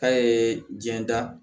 K'a ye jɛnda